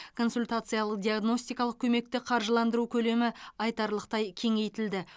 консультациялық диагностикалық көмекті қаржыландыру көлемі айтарлықтай кеңейтілді